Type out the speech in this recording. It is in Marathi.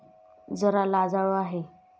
जरा लाजाळू आहे.